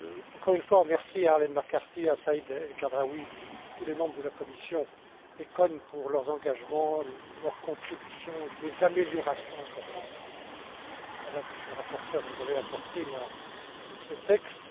Encore une fois, merci à Arlene McCarthy, à Saïd El Khadraoui et à tous les membres de la commission ECON pour leurs engagements, leurs contributions, les améliorations importantes, Madame, Monsieur le rapporteur, que vous avez apportées à ces textes.